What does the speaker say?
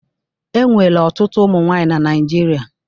E nwere ọtụtụ ụmụ nwaanyị na Naijiria.